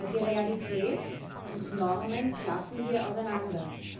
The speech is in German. Die Realität und Normen klaffen hier auseinander.